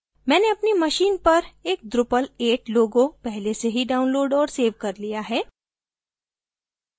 मैंने अपनी machine पर एक drupal 8 logo पहले से ही downloaded और सेव कर लिया है